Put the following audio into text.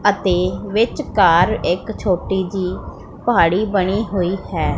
ਅਤੇ ਵਿੱਚਕਾਰ ਇੱਕ ਛੋਟੀ ਜਿਹੀ ਪਹਾੜੀ ਬਨੀ ਹੋਈ ਹੈ।